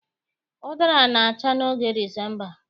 Ụdara na-acha n'oge Disemba